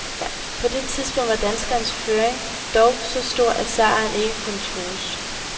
På det tidspunkt var danskerens føring dog så stor, at sejren ikke kunne trues.